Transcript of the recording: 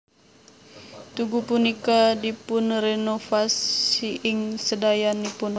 Tugu punika dipunrenovasi ing sedayanipun